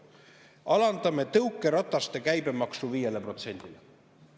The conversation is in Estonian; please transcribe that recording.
"Alandame tõukerataste käibemaksu 5%-le.